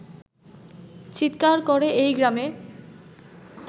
চিৎকার করে এই গ্রামে